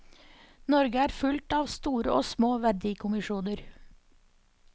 Norge er fullt av store og små verdikommisjoner.